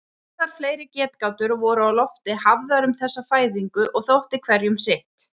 Ýmsar fleiri getgátur voru á lofti hafðar um þessa fæðingu og þótti hverjum sitt.